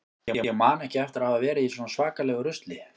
Ég man ekki eftir að hafa verið í svona svakalegu rusli.